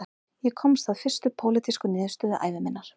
Ég komst að fyrstu pólitísku niðurstöðu ævi minnar